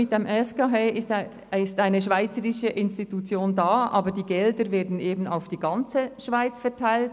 Mit der SGH besteht eine schweizerische Institution zur Finanzierung, aber die Gelder werden auf die ganze Schweiz verteilt.